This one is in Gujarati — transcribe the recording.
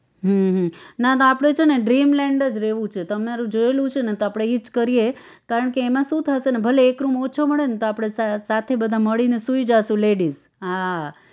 હમ હમ ના તો આપણે છે ને dreamland જ રેવું છે તમારું જોયેલું છે ને તો આપણે ઈ જ કરીએ કારણ કે એમાં શું થાશે ભલે એક રૂમ ઓછો મળે ને તો આપણે સાથે બધા મળીને સુઈ જાશું ladies હા